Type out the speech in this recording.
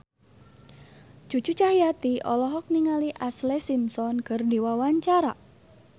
Cucu Cahyati olohok ningali Ashlee Simpson keur diwawancara